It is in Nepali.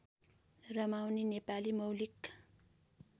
रमाउने नेपाली मौलिक